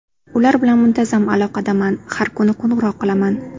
Ular bilan muntazam aloqadaman, har kuni qo‘ng‘iroq qilaman.